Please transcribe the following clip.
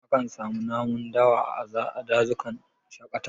A kan samu namun dawa a dazukan shaƙatawa